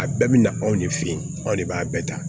A bɛɛ bi na anw de fe yen anw de b'a bɛɛ ta